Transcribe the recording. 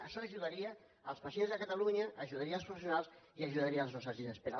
això ajudaria els pacients de catalunya ajudaria els professionals i ajudaria les nostres llistes d’espera